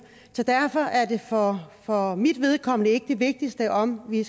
så derfor er det for for mit vedkommende ikke det vigtigste om vi